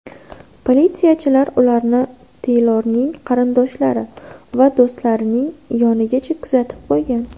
Politsiyachilar ularni Teylorning qarindoshlari va do‘stlarining yonigacha kuzatib qo‘ygan.